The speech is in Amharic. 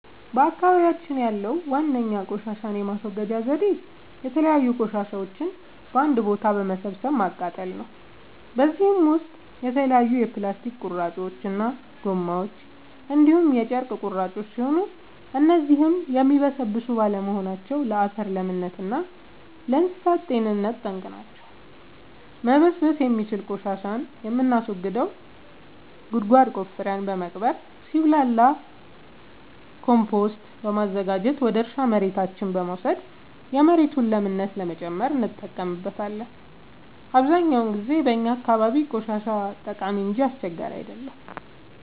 በአካባቢያችን ያለዉ ዋነኛ ቆሻሻን የማስወገጃ ዘዴ የተለያዩ ቆሻሻዎችን በአንድ ቦታ በመሰብሰብ ማቃጠል ነው። በዚህም ውስጥ የተለያዩ የፕላስቲክ ቁርጥራጮች እና ጎማዎች እንዲሁም የጨርቅ ቁራጮች ሲሆኑ እነዚህም የሚበሰብሱ ባለመሆናቸው ለአፈር ለምነት እና ለእንሳሳት ጤንነት ጠንቅ ናቸው። መበስበስ የሚችል ቆሻሻን የምናስወግደው ጉድጓድ ቆፍረን በመቅበር ሲብላላ ኮምቶስት በማዘጋጀት ወደ እርሻ መሬታችን በመውሰድ የመሬቱን ለምነት ለመጨመር እንጠቀምበታለን። አብዛኛውን ጊዜ በእኛ አካባቢ ቆሻሻ ጠቃሚ እንጂ አስቸጋሪ አይደለም።